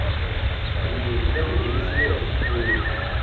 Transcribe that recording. phemiti ya ku nghenisa etikweni